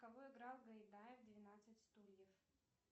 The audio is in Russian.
кого играл гайдай в двенадцать стульев